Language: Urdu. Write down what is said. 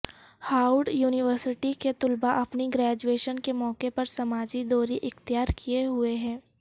ہاورڈ یونیورسٹی کے طلبا اپنی گریجویشن کے موقع پر سماجی دوری اختیار کیے ہوئے ہیں